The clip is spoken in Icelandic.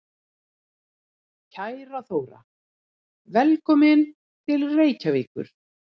Kæra Þóra. Velkomin til Reykjavíkur.